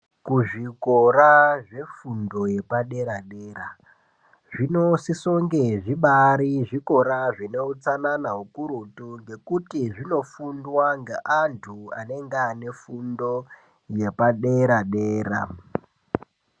Kuzvikora zvefundo yepadera-dera zvinosisonge zvibaari zvikora zvine utsanana hukurutu ngekuti zvinofundwa ngeantu anenge aine fundo yepadera-dera.